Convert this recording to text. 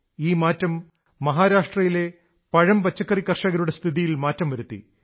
ഈ മാറ്റം മഹാരാഷ്ട്രയിലെ പഴംപച്ചക്കറി കർഷകരുടെ സ്ഥിതിയിൽ മാറ്റം വരുത്തി